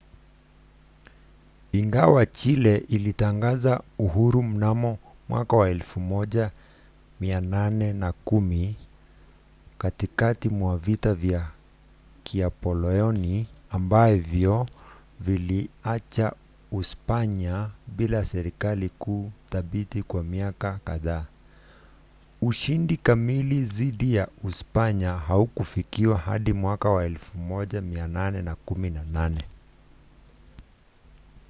ingawa chile ilitangaza uhuru mnamo 1810 katikati mwa vita vya kinapoleoni ambavyo viliacha uspanya bila serikali kuu thabiti kwa miaka kadhaa ushindi kamili dhidi ya uspanya haukufikiwa hadi 1818